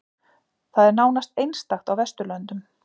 Það er nánast einstakt á vesturlöndum